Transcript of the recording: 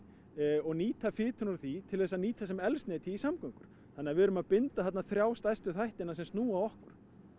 og nýta fituna úr því til þess að nýta sem eldsneyti í samgöngur þannig að við erum að binda þarna þrjá stærstu þættina sem snúa að okkur